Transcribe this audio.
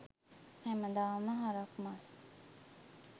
හැමදාම හරක් මස්